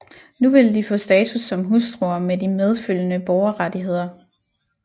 Nu ville de få status som hustruer med de medfølgende borgerrettigheder